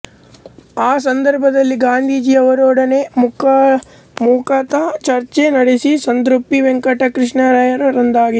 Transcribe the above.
ಆ ಸಂದರ್ಭದಲ್ಲಿ ಗಾಂಧೀಜಿಯವರೊಡನೆ ಮುಖತಃ ಚರ್ಚೆ ನಡೆಸಿದ ಸಂತೃಪ್ತಿ ವೆಂಕಟಕೃಷ್ಣಯ್ಯನವರದಾಗಿತ್ತು